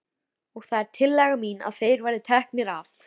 Og það er tillaga mín að þeir verði teknir af.